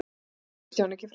Ég sá Kristján ekki framar.